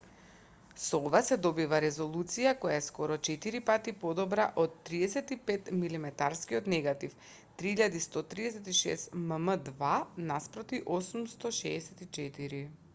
со ова се добива резолуција која е скоро четири пати подобра од 35-милиметарскиот негатив 3136 мм2 наспроти 864